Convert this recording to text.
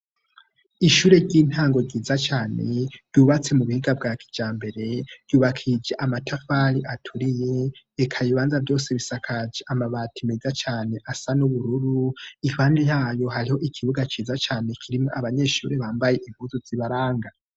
Ishure ry'intango ryiza cane ryubatse mu buhiga bwa kijambere, ryubakishije amatafari aturiye, eka ibibanza vyose bisakaje amabati muga cane asa n'ubururu ,ahandi naho hariho ikibuga ciza cane kirimwo ,abanyeshuri bambaye impuzu zibaranga.